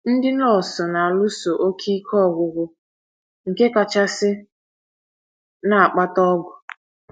Ndị nọọsụ na-alụso oké ike ọgwụgwụ nke nchekasị na - akpata ọgụ.